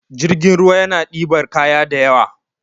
jirgin ruwa yana dibar kaya da ywa